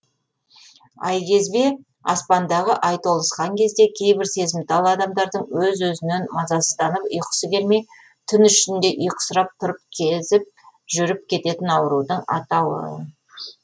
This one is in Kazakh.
айкезбе аспандағы ай толысқан кезде кейбір сезімтал адамдардың өз өзінен мазасынданып ұйқысы келмей түн ішінде ұйқысырап тұрып кезіп жүріп кететін аурудың атауы